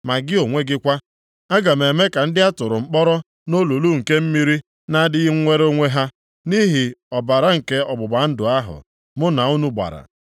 Ma gị onwe gị kwa, aga m eme ka ndị a tụrụ mkpọrọ nʼolulu nke mmiri na-adịghị nwere onwe ha, nʼihi ọbara nke ọgbụgba ndụ ahụ mụ na unu gbara.